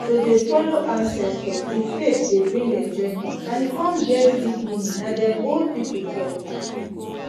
to dey follow ancestors the faith dey bring enjoyment and e con get deep meaning na dem old people talk